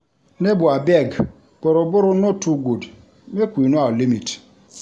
Nebor abeg, borrow-borrow no too good, make we know our limit.